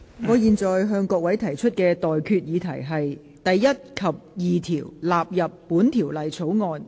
我現在向各位提出的待決議題是：第1及2條納入本條例草案。